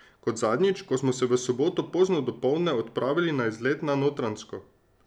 Kot zadnjič, ko smo se v soboto pozno dopoldne odpravili na izlet na Notranjsko.